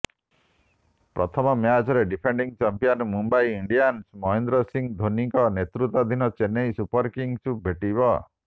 ପ୍ରଥମ ମ୍ୟାଚରେ defending champion Mumbai Indians Mahendra Singh ଧୋନିଙ୍କ ନେତୃତ୍ୱାଧୀନ ଚେନ୍ନାଇ ସୁପରକିଙ୍ଗସକୁ ଭେଟିବ